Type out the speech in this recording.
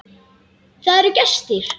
Það eru gestir.